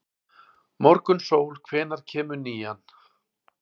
Morgunsól, hvenær kemur nían?